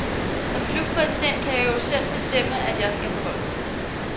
Som klubpræsident kan jeg jo selv bestemme, at jeg skal på holdet.